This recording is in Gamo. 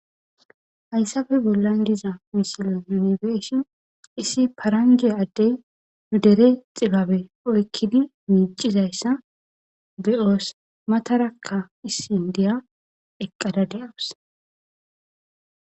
Hayisafe bollan diza misilo yunibeeshi issi paranje addey yudere xibabe oykkidi miicizayssa be'yoos matarakka issin diya eqqada de'awus